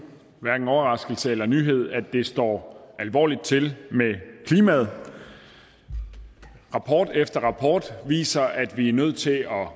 overraskelse eller nyhed at det står alvorligt til med klimaet rapport efter rapport viser at vi er nødt til at